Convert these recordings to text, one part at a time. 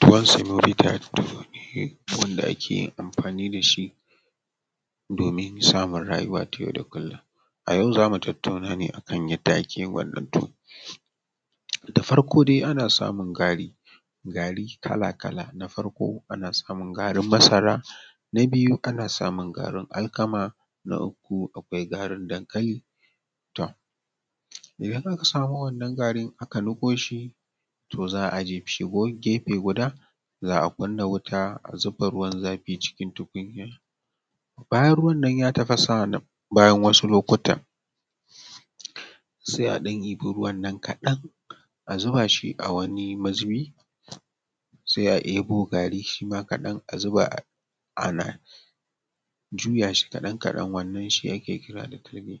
Tuwon samovita dai, tuwo ne wanda ake amfani da shi domin samun rayuwa ta yau da kullum, a yau zamu tattauna akan yadda ake wannan tuwo, da farko dai ana samun gari kala-kala na farko ana samun garin masara, na biyu ana samun garin alkama, na uku akwai garin dankali, to idan aka samo wannan garin aka niƙo shi to za,a je guri gefe guda, za a kunna wuta a zuba ruwan zafi cikin tukunya bayan ruwan ne ya tafasa bayan wasu lokutan, sai a ɗan ɗiba ruwan nan kadan a zuba shi a wani mazubi sai aɗebo gari shima kaɗan a zuba a nan ana juya shi kadan-kadan wannan shi ake kira da talge,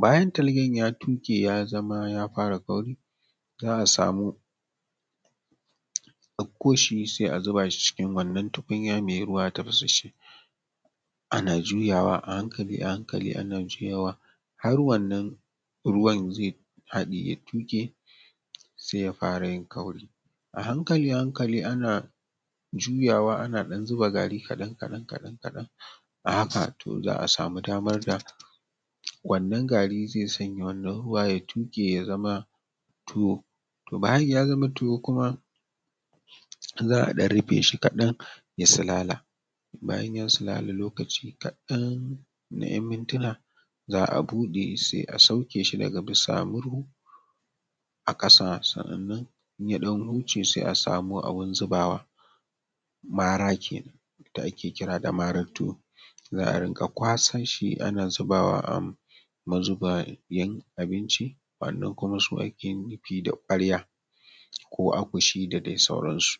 bayan talgen ya tuƙe ya zama ya fara kauri za a samu a ɗako shi sai a zuba shi cikin wannan tukunya wanda ruwa ya tafasa ana juyawa a hankali a hankali yana juyawa har wannan ruwan zai haɗe ya tuke sai ya fara yin kauri a hankali a hankali ana juyawa ana ɗan zuba gari kaɗan-kaɗan a haka to za a samu damar da wannan garin zai sanya wannan garin ya tuƙe ya zama tuwo, to bayan ya zama tuwo kuma za a ɗan rufe shi kaɗan ya salala, bayan ya salala lokaci kaɗan na yan mintuna za a buɗe sai a sauke shi daga bisa murhu a ƙasa, sannan yaɗan huce sai a samo abin zubawa mara da ake kira da maran tuwo a rika kwasanshi ana zubawa a mazubayen abinci, wannan su ake kira da ƙwarya ko akushi da dai sauran su.